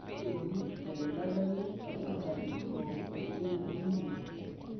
kaji eikoni te nebaiki abetalipopeteinemia?